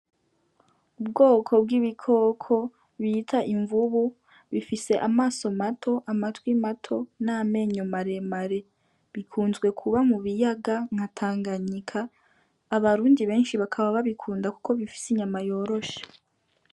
Ubwoko bw'ibikoko bita imvubu bifise amaso mato, amatwi mato n'amenyo maremare. Bikunzwe kuba mu biyaga nka Tanganyika, abarundi benshi bakaba babikunda kuko bifise inyama yoroshe.